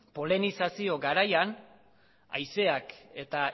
poleninazio garaian haizeak eta